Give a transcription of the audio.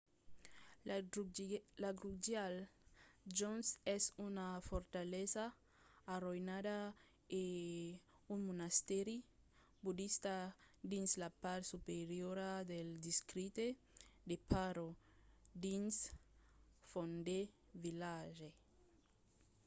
la drukgyal dzong es una fortalesa arroïnada e un monastèri bodista dins la part superiora del districte de paro dins phondey village